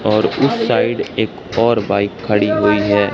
और उस साइड एक और बाइक खड़ी हुई है।